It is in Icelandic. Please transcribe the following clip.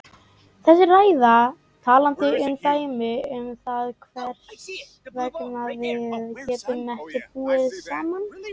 Þessi ræða er talandi dæmi um það hvers vegna við getum ekki búið saman.